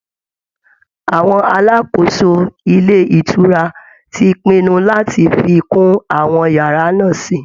Àwọn alákòóso ilé ìtura ti pinnu láti fi kún àwọn yàrá náà sí i